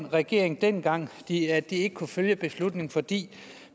regeringen dengang det at ikke kunne følge beslutningen fordi